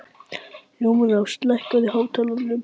Hjálmrós, lækkaðu í hátalaranum.